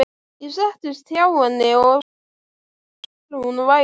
Ég settist hjá henni og spurði hana hver hún væri.